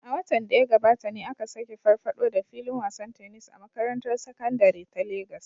A watan da ya gabata ne aka sake farfaɗo da filin wasan tennis a makarantar sakandare ta Legas